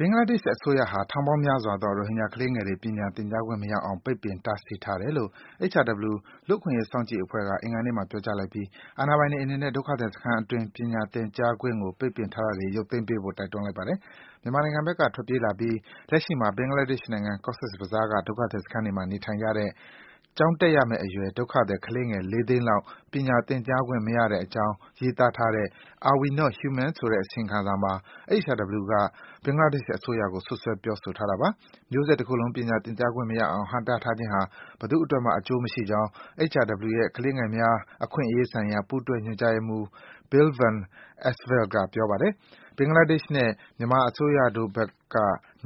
ဘင်္ဂလားဒေ့ရှ်အစိုးရဟာ ထောင်ပေါင်းများစွာသော ရိုဟင်ဂျာကလေးငယ်တွေ ပညာသင်ကြားခွင့်မရအောင် ပိတ်ပင် တားဆီးထားတယ်လို့ HRW လူ့အခွင့်အရေး စောင့်ကြည့်ရေးအဖွဲ့က အင်္ဂါနေ့မှာ ပြောကြားလိုက်ပြီး အာဏာပိုင်တွေအနေနဲ့ ဒုက္ခသည်စခန်းအတွင်း ပညာ သင်ကြားခွင့်ကို ပိတ်ပင်ထားတာတွေကို ရုပ်သိမ်းပေးဖို့ တိုက်တွန်းလိုက်ပါတယ်။ မြန်မာနိုင်ငံဘက်က ထွက်ပြေးလာပြီး လက်ရှိမှာ ဘင်္ဂလားဒေ့ရှ်နိုင်ငံ၊ Cox’s Bazar က ဒုက္ခသည်စခန်းတွေမှာ နေထိုင်နေကြတဲ့ ကျောင်းတက်ရမယ့်အရွယ် ဒုက္ခသည် ကလေးငယ် ၄၀၀,၀၀၀ လောက် ပညာသင်ကြားခွင့် မရကြတဲ့အကြောင်း ရေးသားထားတဲ့ “Are we not human?” ဆိုတဲ့ အစီရင်ခံစာမှာ HRW က ဘင်္ဂလားဒေ့ရှ်အစိုးရကို စွပ်စွဲ ပြောဆိုထားတာပါ။ မျိုးဆက်တခုလုံး ပညာသင်ကြားခွင့်မရအောင် ဟန့်တားထားခြင်းဟာ ဘယ်သူ့အတွက်မှ အကျိုးမရှိကြောင်း HRW ရဲ့ ကလေးငယ်များ အခွင့်အရေးဆိုင်ရာ ပူးတွဲ ညွန်ကြားရေးမှူး Bill Van Esveld က ပြောပါတယ်။ ဘင်္ဂလားဒေ့ရှ်နဲ့ မြန်မာအစိုးရတို့ဘက်က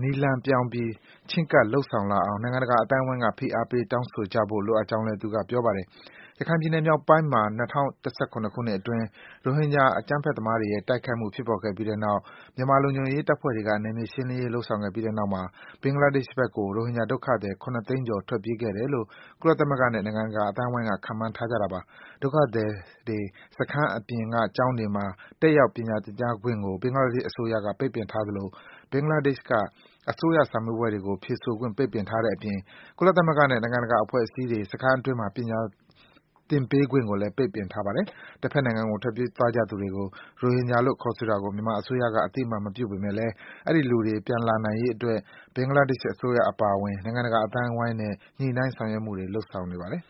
နည်းလမ်းပြောင်းပြီး ချဉ်းကပ်လုပ်ဆောင်လာအောင် နိုင်ငံတကာအသိုင်းဝိုင်းက ဖိအားပေး တောင်းဆိုကြဖို့ လိုအပ်ကြောင်း သူက ပြောပါတယ်။ ရခိုင်ပြည်နယ်မြောက်ပိုင်းမှာ ၂၀၁၇ ခုနှစ်အတွင်း ရိုဟင်ဂျာ အကြမ်းဖက်သမားတွေရဲ့ တိုက်ခိုက်မှုဖြစ်ပေါ်ခဲ့ပြီးနောက် မြန်မာလုံခြုံရေး တပ်ဖွဲ့တွေက နယ်မြေရှင်းလင်းရေး လုပ်ဆောင်ခဲ့ပြီးတဲ့နောက် ဘင်္ဂလားဒေ့ရှ်ဘက်ကို ရိုဟင်ဂျာဒုက္ခသည် ၇ သိန်းကျော် ထွက်ပြေးခဲ့တယ်လို့ ကုလသမဂ္ဂနဲ့ နိုင်ငံတကာအသိုးဝိုင်းက ခန့်မှန်းထားကြတာပါ။ ဒုက္ခသည်တွေ စခန်းအပြင်က ကျောင်းတွေမှာ တက်ရောက် ပညာသင်ကြားခွင့်ကို ဘင်္ဂလားဒေ့ရှ်အစိုးရက ပိတ်ပင်ထားသလို ဘင်္ဂလားဒေ့ရှ်က အစိုးရစာမေးပွဲတွေကို ဖြေဆိုခွင့် ပိတ်ပင်ထားတဲ့အပြင် ကုလသမဂ္ဂနဲ့ နိုင်ငံတကာအဖွဲ့အစည်းတွေ စခန်းအတွင်းမှာ ပညာသင်ပေးခွင့်ကိုလည်း ပိတ်ပင်ထားပါတယ်။ တဘက်နိုင်ငံကို ထွက်ပြေးသွားသူတွေကို ရိုဟင်ဂျာလို့ ခေါ်ဆိုတာကို မြန်မာအစိုးရက အသိအမှတ် မပြုပေမယ့် အဲဒီလူတွေ ပြန်လာရေးအတွက် ဘင်္ဂလားဒေ့ရှ် အစိုးရအပါအဝင် နိုင်ငံတကာအသိုင်းဝိုင်းနဲ့ ညှိနှိုင်းဆောင်ရွက်မှုတွေ လုပ်ဆောင်နေပါတယ်